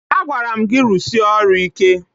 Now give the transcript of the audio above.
Agwara m gị rụsie ọrụ ike.